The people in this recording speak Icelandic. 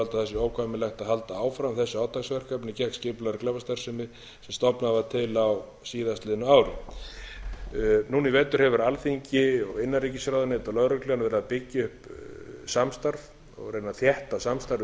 að óhjákvæmilegt sé að halda áfram þessu átaksverkefni gegn skipulagðri glæpastarfsemi sem stofnað var til á síðastliðnu ári núna í vetur hefur alþingi og innanríkisráðuneytið og lögreglan verið að byggja upp samstarf og reyna að þétta samstarfið